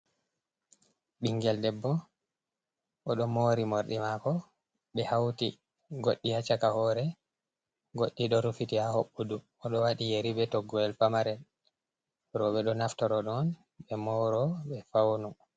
Ɓingel debbo oɗo mori morɗi mako be hauti goɗɗi ha caka hore goɗɗi ɗo rufiti ha hoɓɓudu oɗo waɗi yeri be toggowel pamarel roɓɓe ɗo naftoro ɗon ɓe moro ɓe fauno.